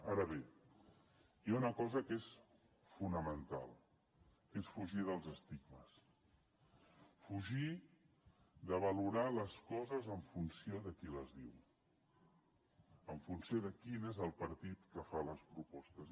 ara bé hi ha una cosa que és fonamental que és fugir dels estigmes fugir de valorar les coses en funció de qui les diu en funció de quin és el partit que fa les propostes